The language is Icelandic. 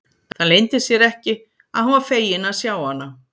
Það leyndi sér ekki að hann var feginn að sjá hana.